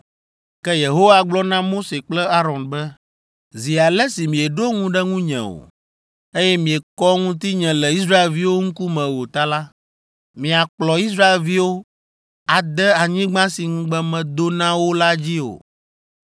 Ke Yehowa gblɔ na Mose kple Aron be, “Zi ale si mieɖo ŋu ɖe ŋunye o, eye miekɔ ŋutinye le Israelviwo ŋkume o ta la, miakplɔ Israelviwo ade anyigba si ŋugbe medo na wo la dzi o!”